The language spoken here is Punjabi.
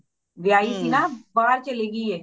ਵਿਆਹੀ ਸੀ ਨਾ ਬਾਹਰ ਚਲੀ ਗਯੀਏ